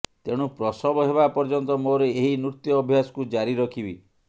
ତେଣୁ ପ୍ରସବ ହେବା ପର୍ଯ୍ୟନ୍ତ ମୋର ଏହି ନୃତ୍ୟ ଅଭ୍ୟାସକୁ ଜାରି ରଖିବି